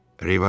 Rivaris.